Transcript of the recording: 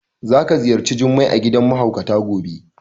Za ka ziyarci Jummai a gidan mahaukata gobe.